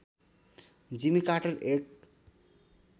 जिमी Carter एक